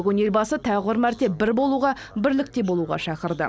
бүгін елбасы тағы бір мәрте бір болуға бірлікте болуға шақырды